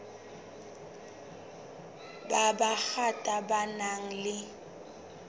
ba bangata ba nang le